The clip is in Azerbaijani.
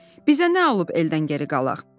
Bizə nə alıb eldən geri qalaq?"